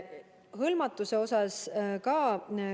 Hõlmatusest.